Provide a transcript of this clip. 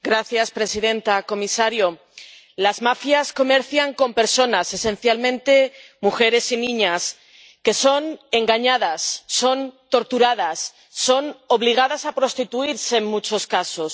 Señora presidenta, señor comisario, las mafias comercian con personas, esencialmente mujeres y niñas que son engañadas, son torturadas, son obligadas a prostituirse en muchos casos.